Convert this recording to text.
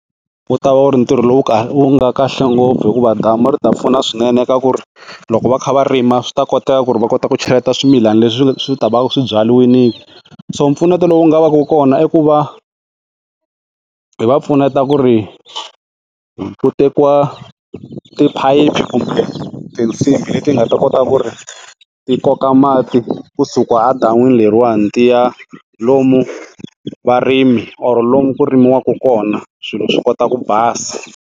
U ta va u ri ntirho lowu kahle wu nga kahle ngopfu hikuva damu swi ta pfuna swinene ka ku ri loko va kha va rima swi ta koteka ku ri va kota ku cheleta swimilana leswi swi ta va swibyariwile so mpfuneto lowu nga va ka kona i ku va hi va pfuneta ku ri ku tekiwa tiphayiphi kumbe tinsimbhi leti nga ta kota ku ri ti koka mati kusuka a dan'wini leriwani ti ya lomu varimi or lomu ku rimiwaka kona swilo swi kota ku basa.